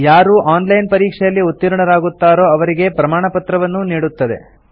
ಯಾರು online ಪರೀಕ್ಷೆಯಲ್ಲಿ ಉತ್ತೀರ್ಣರಾಗುತ್ತಾರೋ ಅವರಿಗೆ ಪ್ರಮಾಣಪತ್ರವನ್ನೂ ನೀಡುತ್ತದೆ